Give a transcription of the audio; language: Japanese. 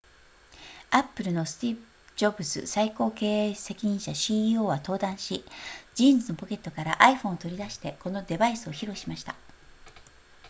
apple のスティーブジョブズ最高経営責任者 ceo は登壇しジーンズのポケットから iphone を取り出してこのデバイスを披露しました